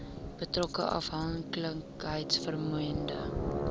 betrokke afhanklikheids vormende